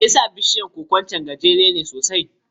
Me yasa bishiyar koko ɗin can guntuwa ce sosai?